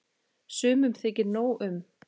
Sumum þykir nóg um.